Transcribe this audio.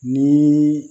Ni